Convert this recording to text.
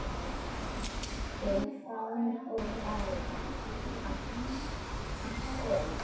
Stefán og Axel.